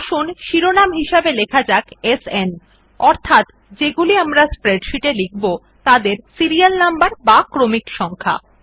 আসুন শিরোনাম হিসাবে লেখা যাক সান অর্থাৎ যেগুলি আমরা স্প্রেডশীটএ লিখব তাদের সিরিয়ালনম্বর বা ক্রমিক সংখ্যা